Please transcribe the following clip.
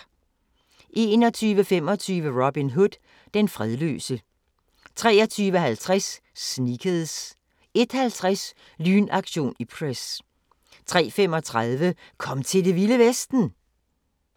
21:25: Robin Hood – Den fredløse 23:50: Sneakers 01:50: Lynaktion Ipcress 03:35: Kom til Det Vilde Vesten!